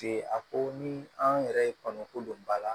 a ko ni an yɛrɛ ye kɔnɔko don ba la